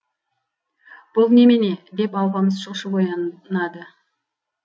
бұл немене деп алпамыс шошып оянады